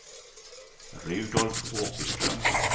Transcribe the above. Rudolf Åkerström